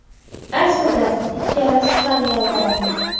Aslida ikkalasi ham yolg‘on.